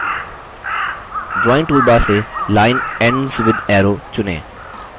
drawing toolbar से line ends with arrow चुनें